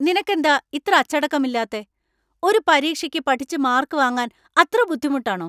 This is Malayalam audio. നിനക്ക് എന്താ ഇത്ര അച്ചടക്കമില്ലാത്തേ? ഒരു പരീക്ഷയ്ക്ക് പഠിച്ച്‌ മാർക്ക് വാങ്ങാൻ അത്ര ബുദ്ധിമുട്ടാണോ?